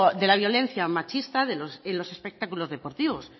de la violencia machista en los espectáculos deportivos